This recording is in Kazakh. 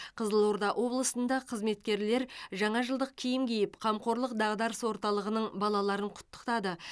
қызылорда облысында қызметкерлер жаңа жылдық киім киіп қамқорлық дағдарыс орталығының балаларын құттықтады